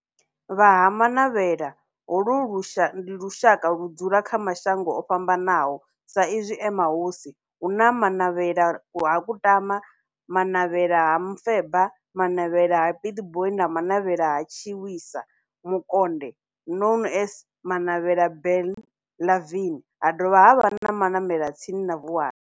Vha Ha-Manavhela, holu ndi lushaka ludzula kha mashango ofhambanaho sa izwi e mahosi, hu na Manavhela ha Kutama, Manavhela ha Mufeba, Manavhela ha Pietboi na Manavhela ha Tshiwisa Mukonde known as Manavhela Benlavin, ha dovha havha na Manavhela tsini na Vuwani.